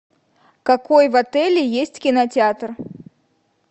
какой в отеле есть кинотеатр